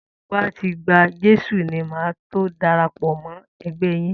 Tí mo bá ti gba Jésù ni màá tó darapọ̀ mọ́ ẹgbẹ́ẹ yín.